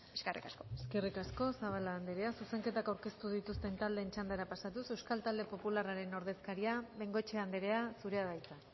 eskerrik asko eskerrik asko zabala andrea zuzenketak aurkeztu dituzten taldeen txandara pasatuz euskal talde popularraren ordezkaria bengoechea andrea zurea da hitza